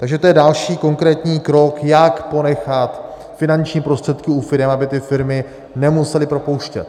Takže to je další konkrétní krok, jak ponechat finanční prostředky u firem, aby ty firmy nemusely propouštět.